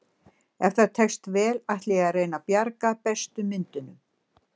Ef það tekst vel ætla ég að reyna að bjarga bestu myndunum.